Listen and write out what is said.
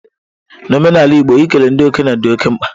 N'omenala igbo, ikele ndị okenye dị oke mkpa.